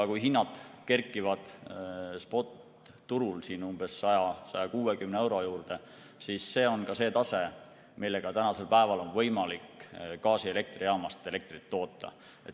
Kui hinnad kerkivad spotturul 100–160 euro juurde, siis see on see tase, millega tänasel päeval on võimalik gaasielektrijaamas elektrit toota.